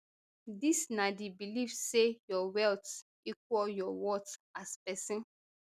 dis na di belief say your wealth equal your worth as pesin